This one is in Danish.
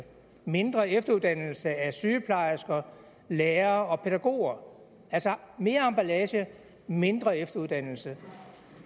mindre efteruddannelse af sygeplejersker lærere og pædagoger altså mere emballage mindre efteruddannelse